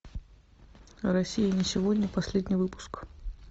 россия не сегодня последний выпуск